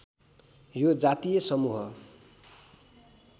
यो जातीय समूह